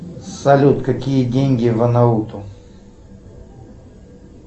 салют какие деньги в анауту